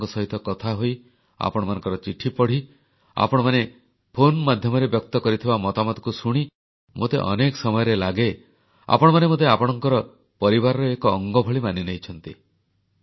ଆପଣଙ୍କ ସହିତ କଥାହୋଇ ଆପଣମାନଙ୍କର ଚିଠିପଢ଼ି ଆପଣମାନେ ଫୋନ ମାଧ୍ୟମରେ ବ୍ୟକ୍ତ କରିଥିବା ମତାମତକୁ ଶୁଣି ମୋତେ ଅନେକ ସମୟରେ ଲାଗେ ଆପଣମାନେ ମୋତେ ଆପଣଙ୍କର ପରିବାରର ଏକ ଅଙ୍ଗଭଳି ମାନିନେଇଛନ୍ତି